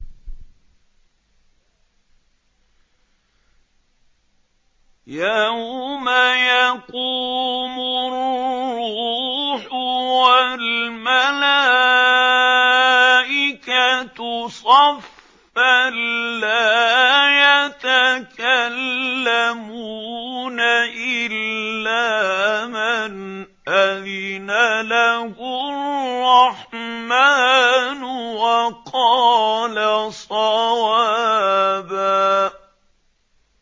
يَوْمَ يَقُومُ الرُّوحُ وَالْمَلَائِكَةُ صَفًّا ۖ لَّا يَتَكَلَّمُونَ إِلَّا مَنْ أَذِنَ لَهُ الرَّحْمَٰنُ وَقَالَ صَوَابًا